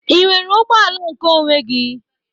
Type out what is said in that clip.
Ị nwere ụgbọ ala nke onwe gi?